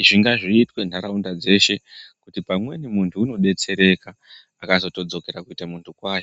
Izvi ngazviitwe nharaunda dzeshe kuti pamweni muntu unodetsereka akazotodzokera kuite munhu kwaye.